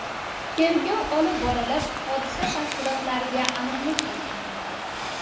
Tergov olib borilib, hodisa tafsilotlariga aniqlik kiritilmoqda.